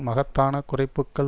மகத்தான குறைப்புக்கள்